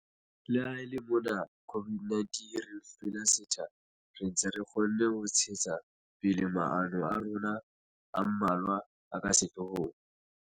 Le ha e le mona COVID-19 e re hlwele setha, re ntse re kgonne ho ntshetsa pele maano a rona a mmalwa a ka sehloohong.